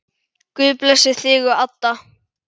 Guð blessi þig og Adda.